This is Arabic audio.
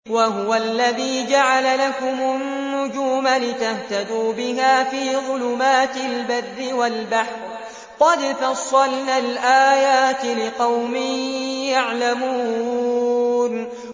وَهُوَ الَّذِي جَعَلَ لَكُمُ النُّجُومَ لِتَهْتَدُوا بِهَا فِي ظُلُمَاتِ الْبَرِّ وَالْبَحْرِ ۗ قَدْ فَصَّلْنَا الْآيَاتِ لِقَوْمٍ يَعْلَمُونَ